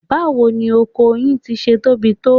Báwo ni oko yìí ti ṣe tóbi tó?